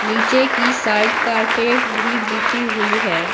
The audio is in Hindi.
नीचे की साइड कारपेट भी बिछी हुई है।